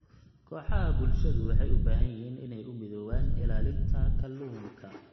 Kooxaha bulshadu waxay u baahan yihiin inay u midoobaan ilaalinta kalluunka.